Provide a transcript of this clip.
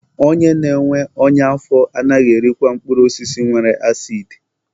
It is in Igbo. Onye na-enwe ọnya afọ anaghị erikwa mkpụrụ osisi nwere asidi.